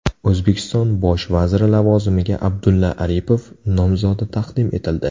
O‘zbekiston bosh vaziri lavozimiga Abdulla Aripov nomzodi taqdim etildi.